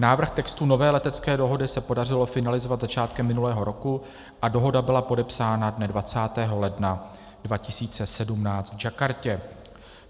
Návrh textu nové letecké dohody se podařilo finalizovat začátkem minulého roku a dohoda byla podepsána dne 20. ledna 2017 v Jakartě.